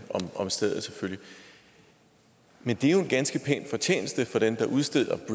om stedet men det er jo en ganske pæn fortjeneste for dem der udsteder